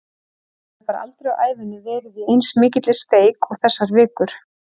Ég hef bara aldrei á ævinni verið í eins mikilli steik og þessar vikur.